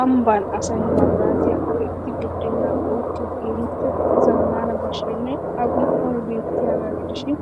Amabban asay mabiraatiya gi'ettidi budeenaa uukkiyo keehiippe zamaana basheenne A qum'oy beettiyaagaa gidishiin